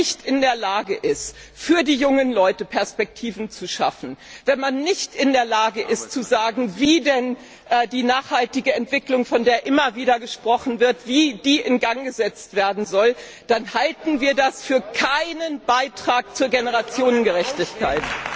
Wenn man nicht in der Lage ist, gleichzeitig für die jungen Leute Perspektiven zu schaffen, und wenn man nicht in der Lage ist zu sagen, wie denn die nachhaltige Entwicklung, von der immer wieder gesprochen wird, in Gang gesetzt werden soll, dann halten wir das für keinen Beitrag zur Generationengerechtigkeit.